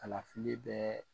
Kalafili bɛɛ